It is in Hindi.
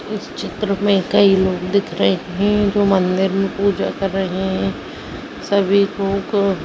इस चित्र में कई लोग दिख रहे है जो मंदिर में पूजा कर रहे है सभी को क--